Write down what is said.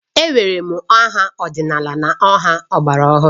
E nwere ma aha ọdịnala na aha ọgbara ọhụrụ